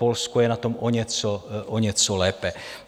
Polsko je na tom o něco lépe.